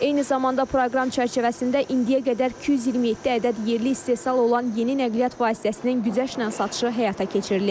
Eyni zamanda proqram çərçivəsində indiyə qədər 227 ədəd yerli istehsal olan yeni nəqliyyat vasitəsinin güzəştlə satışı həyata keçirilib.